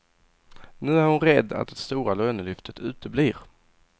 Nu är hon rädd att det stora lönelyftet uteblir.